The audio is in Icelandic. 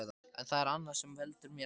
En það er annað sem veldur mér angri.